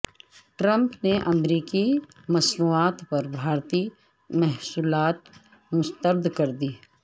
Trump نے امریکی مصنوعات پر بھارتی محصولات مسترد کردی